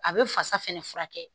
A bɛ fasa fɛnɛ furakɛ